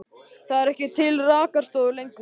Það eru ekki til rakarastofur lengur.